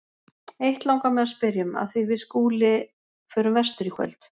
Eitt langar mig að spyrja um, af því við Skúli förum vestur í kvöld.